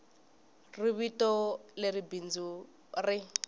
ri vito leri bindzu ri